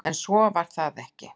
En svo var ekki